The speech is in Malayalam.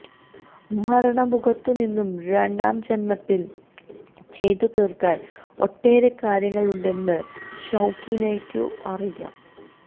മരണമുഖത്തു നിന്നും രണ്ടാം ജന്മത്തിൽ ചെയ്തു തീർക്കാൻ ഒട്ടേറെ കാര്യങ്ങളുണ്ടെന്ന് ഷൌക്കീനയ്ക്കും അറിയാം